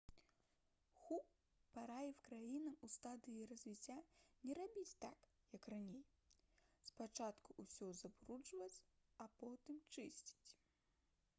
ху параіў краінам у стадыі развіцця «не рабіць так як раней — спачатку ўсё забруджваць а потым чысціць»